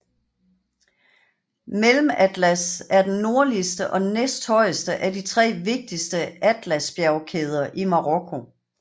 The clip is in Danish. Mellematlas er den nordligste og næsthøjeste af de tre vigtigste Atlasbjergkæder i Marokko